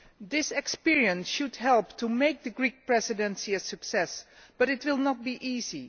This experience should help make the Greek Presidency a success, but it will not be easy.